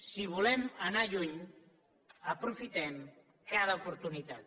si volem anar lluny aprofitem cada oportunitat